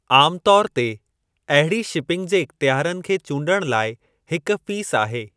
आमु तौर ते, अहिड़ी शिपिंग जे इख़्तियारनि खे चूंडणु लाइ हिकु फ़ीस आहे।